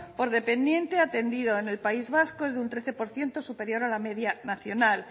por dependiente atendido en el país vasco es de un trece por ciento superior a la media nacional